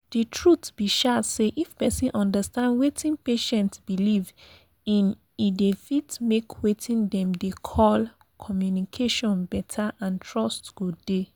the truth be um say if persin understand weting patient believe in e fit make weting dem dey call pause communication better and trust go dey.